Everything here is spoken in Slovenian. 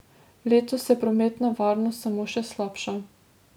Letos se prometna varnost samo še slabša.